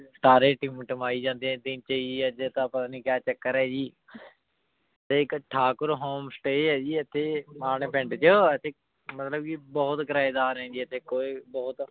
ਤਾਰੇ ਤਿਮ੍ਤੀਮੈ ਜਾਂਦੀ ਜੀ ਆਯ ਜੀ ਪਤਾ ਨਾਈ ਕਿਆ ਚਾਕਰ ਆਯ ਜੀ ਤੇ ਏਇਕ ਠਾਕੁਰ ਹੋਮੇ ਸਟੇ ਆਯ ਜੀ ਏਥੇ ਮਾਨ ਪਿੰਡ ਚ ਏਥੇ ਮਤਲਬ ਜੀ ਬੋਹਤ ਕਰੇ ਡਾਰ ਆਯ ਜੀ ਏਥੇ ਬੋਹਤ